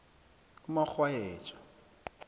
umarhwayeja